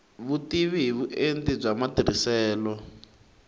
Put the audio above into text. vutivi hi vuenti bya matirhiselo